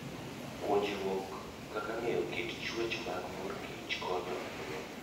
Puonjruok kaka ong'eyo kit chwech mag mor kich konyo ahinya.